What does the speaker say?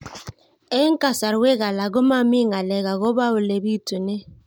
Eng' kasarwek alak ko mami ng'alek akopo ole pitunee